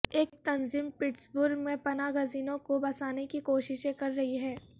ایک تنظیم پٹسبرگ میں پناہ گزینوں کو بسانے کی کوششیں کر رہی ہے